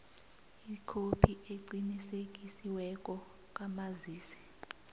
ikhophi eqinisekisiweko kamazisi